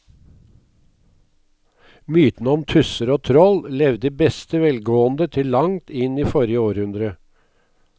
Mytene om tusser og troll levde i beste velgående til langt inn i forrige århundre.